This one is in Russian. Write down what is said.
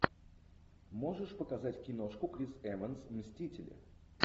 можешь показать киношку крис эванс мстители